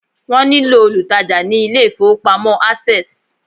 wón ní lò olùtajà ni ilé ifowópamọ́ access